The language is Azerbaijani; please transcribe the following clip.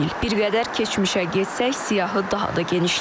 Bir qədər keçmişə getsək, siyahı daha da genişlənər.